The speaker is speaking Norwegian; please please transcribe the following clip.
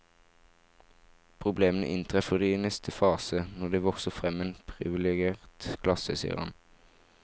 Problemene inntreffer i neste fase, når det vokser frem en priviligert klasse, sier han.